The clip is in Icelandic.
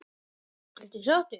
Ertu sáttur?